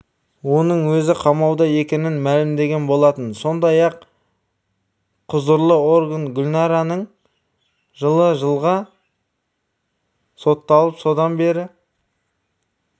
оның өзі қамауда екенін мәлімдеген болатын сондай-ақ құзырлы орган гүлнараның жылы жылға сотталып содан бері